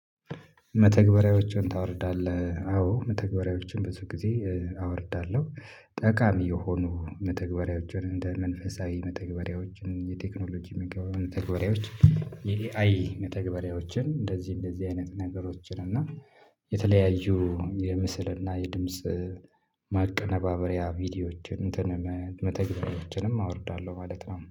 መተግበሪያዎችን ታወርዳለህ? አዎ መተግበሪያዎችን ብዙ ጊዜ አወርዳለሁ ጠቃሚ የሆኑ መተግበሪያዎችን እንደ መንፈሳዊ መተግበሪያዎችን የቴክኖሎጂ መተግበሪያዎች የኤአይ መተግበሪያዎችን እንደዚህ እንደዚህ አይነት ነገሮችን እና የተለያዩ የምስል እና የድምጽ ማቀነባበሪያ ቪዲዮዎችን እንትን መተግበሪያዎችንም አወርዳለሁ ማለት ነው።